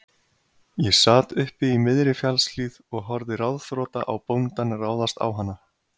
Ég sat uppi í miðri fjallshlíð og horfði ráðþrota á bóndann ráðast á hana.